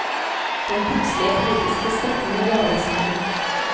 Den plutselige politiske støtten er overraskende.